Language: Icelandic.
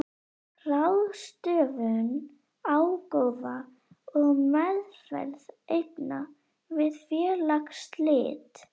Ráðstöfun ágóða og meðferð eigna við félagsslit.